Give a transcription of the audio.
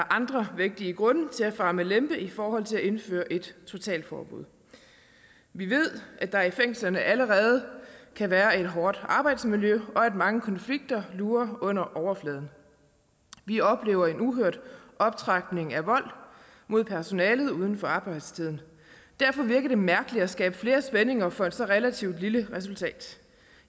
andre vigtige grunde til at fare med lempe i forhold til at indføre et totalforbud vi ved at der i fængslerne allerede kan være et hårdt arbejdsmiljø og at mange konflikter lurer under overfladen vi oplever en uhørt optrapning af vold mod personalet uden for arbejdstiden derfor virker det mærkeligt at skabe flere spændinger for et så relativt lille resultat